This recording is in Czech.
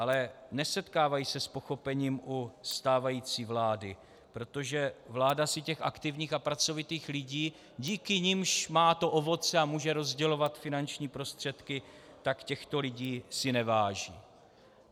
Ale nesetkávají se s pochopením u stávající vlády, protože vláda si těch aktivních a pracovitých lidí, díky nimž má to ovoce a může rozdělovat finanční prostředky, tak těchto lidí si neváží.